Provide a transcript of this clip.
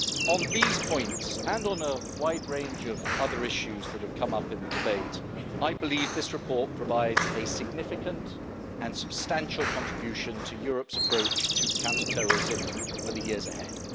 On these points, and on a wide range of other issues that have come up in the debate, I believe this report provides a significant and substantial contribution to Europe's approach to counterterrorism for the years ahead.